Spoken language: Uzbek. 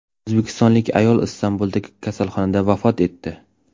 O‘zbekistonlik ayol Istanbuldagi kasalxonada vafot etdi.